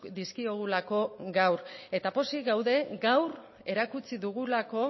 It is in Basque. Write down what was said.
dizkiogulako gaur eta pozik gaude gaur erakutsi dugulako